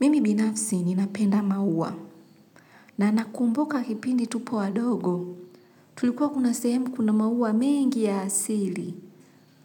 Mimi binafsi ni napenda maua na nakumbuka kipindi tupo wadogo tulikuwa kuna sehemu kuna maua mengi ya asili